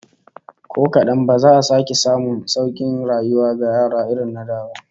Ko kadan ba za a sake samun saukin rayuwa ga yara irin na da ba